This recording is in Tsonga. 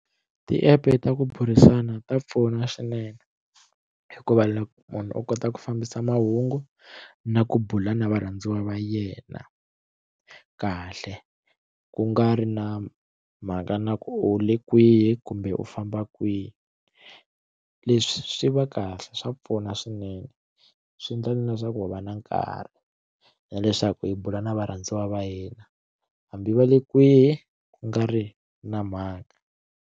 Ti app ta ku burisana ta pfuna swinene hikuva loko munhu u kota ku fambisa mahungu na ku bula na varhandziwa va yena kahle ku nga ri na mhaka na ku u le kwihi kumbe u famba kwihi leswi swi va kahle swa pfuna swinene swi endla na leswaku va va na nkarhi na leswaku hi bula na varhandziwa va hina hambi va le kwihi ku nga ri na mhaka.